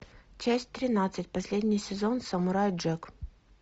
часть тринадцать последний сезон самурай джек